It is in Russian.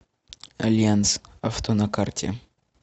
альянс авто на карте